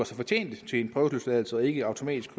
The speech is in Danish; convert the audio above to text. sig fortjent til en prøveløsladelse og ikke automatisk